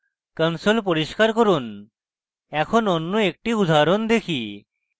console পরিস্কার করুন এখন অন্য একটি উদাহরণ দেখি